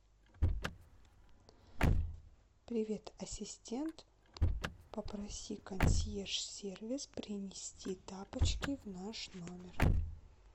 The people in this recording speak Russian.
привет ассистент попроси консьерж сервис принести тапочки в наш номер